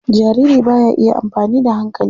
Jariri ba ya iya amfani da hankali.